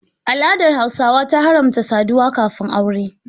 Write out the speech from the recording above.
Al'adar Hausawa ta haramta saduwa kafin Aure.